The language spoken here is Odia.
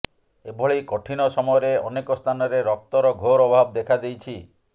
ଏଭଳି କଠିନ ସମୟରେ ଅନେକ ସ୍ଥାନରେ ରକ୍ତର ଘୋର ଅଭାବ ଦେଖା ଦେଇଛି